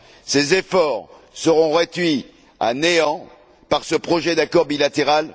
Ces efforts seront réduits à néant par ce projet d'accord bilatéral.